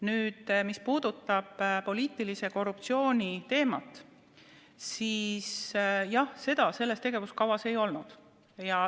Nüüd, mis puudutab poliitilise korruptsiooni teemat, siis jah, seda selles tegevuskavas ei ole.